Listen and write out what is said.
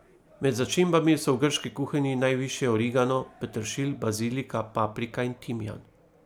Med začimbami so v grški kuhinji najvišje origano, peteršilj, bazilika, paprika in timijan.